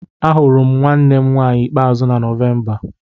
Ahụrụ m nwanne m nwanyị ikpeazụ na Nọvemba.